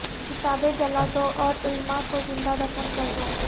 کتابیں جلا دو اور علماء کو زندہ دفن کردو